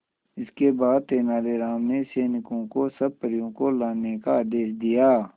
इसके बाद तेलानी राम ने सैनिकों को सब परियों को लाने का आदेश दिया